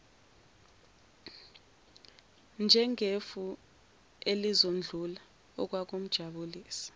njengefu elizodlula okwakumjabulisa